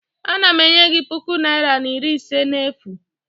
Ana m enye gị puku naira na iri ise n'efu